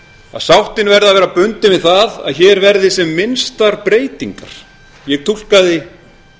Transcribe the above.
að sáttin verði að vera bundin við það að hér verði sem minnstar breytingar ég túlkaði